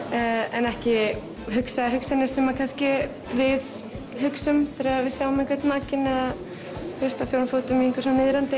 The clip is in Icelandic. en ekki hugsa hugsanir sem kannski við hugsum þegar við sjáum einhvern nakinn eða þú veist á fjórum fótum í einhvers konar niðrandi